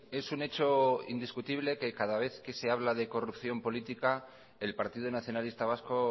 es un hecho indiscutible que cada vez que se habla de corrupción política el partido nacionalista vasco